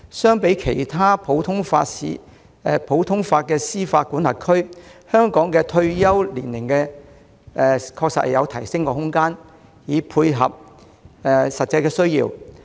相比其他普通法司法管轄區，香港法官的退休年齡確實有提升空間，藉以配合實際需要。